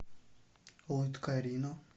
лыткарино